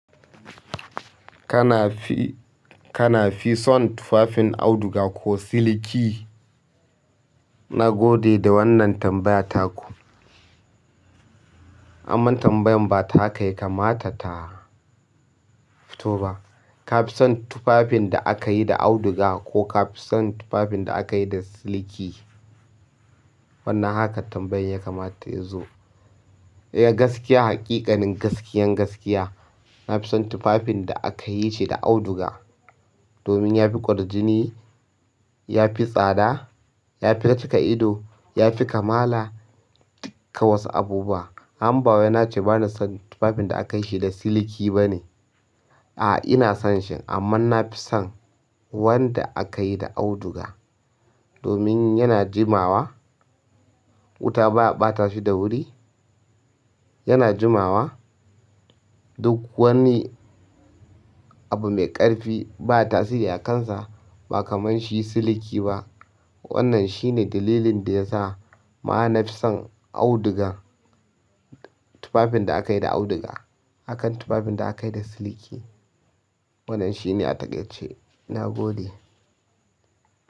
Kana fi, kana fi son tufafin auduga ko siliki? Na gode da wannan tambayata ku. Amma tambayan ba ta haka ya kamata ta fito ba. Kafi son tufafin da akayi da auduga ko kafi son tufafin da aka yi da siliki. Ya gaskiya, haƙiƙanin gaskiyan gaskiya, na fi son tufafin da aka yi ce da auduga. Domin ya fi ƙwarjini, ya fi tsada, ya fi cika ido, ya fi kamala ɗukka wasu abubuwa. Amma bawai nace bana son tufafin da aka yi shi da siliki bane? A'a, ina son shi amman na fi son wanda aka yi da auduga. Domin yana jimawa, wuta ba a ɓata shi da wuri, yana jimawa, duk wani abu mai ƙarfi baya tasiri a kansa ba kamar shi siliki ba. Wannan shine dalilin da ya sa ma na fi son auduga, tufafin da aka yi da auduga, akan tufafin da aka yi da siliki. Wannan shine a takaice ce, na gode.